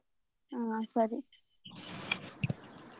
ಹ್ಮ್ ಸರಿ.